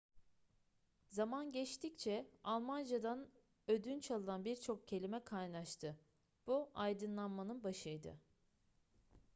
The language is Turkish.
zaman geçtikçe almancadan ödünç alınan birçok kelime kaynaştı bu aydınlanmanın başıydı